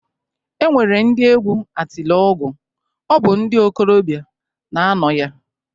E nwere ndị egwu Atilọgwụ, ọ bụ ndị okolobịa na-anọ ya